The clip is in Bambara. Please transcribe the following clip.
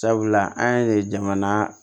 Sabula an ye jamana